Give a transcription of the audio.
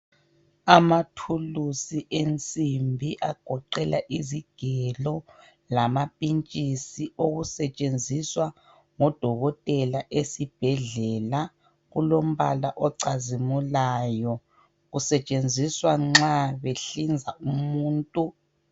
Amathulusi ensimbi agoqela izigelo lamampintshisi okusetshenziswa ngodokotela esibhedlela. Kulombala ocazimulayo. Kusetshenziswa nxa behlinza umuntu.